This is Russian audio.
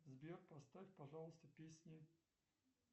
сбер поставь пожалуйста песни